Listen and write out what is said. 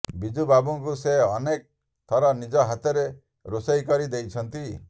ବିଜୁ ବାବୁଙ୍କୁ ସେ ଅନେକ ଥର ନିଜ ହାତରେ ରୋଷଇେ କରି ଦେଇଛନ୍ତି